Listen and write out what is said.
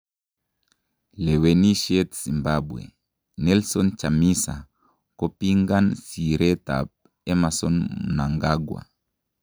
Lewenisiet Zimbabwe:Nelson Chamisa kopingan siretab Emmerson Mnangagwa